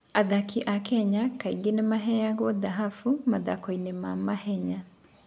Athaki a Kenya kaingĩ nĩ maheo thahabu mathako-inĩ ma mahenya.